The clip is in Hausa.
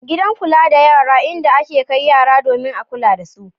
Gidan kula da yara in da a ke kai yara domin a kula da su.